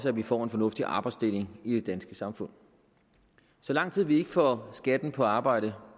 at vi får en fornuftig arbejdsdeling i det danske samfund så lang tid vi ikke får skatten på arbejde